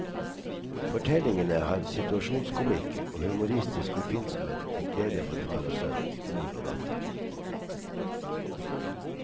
Fortellingene har situasjonskomikk og humoristisk oppfinnsomhet til glede for far og sønn, mor og datter.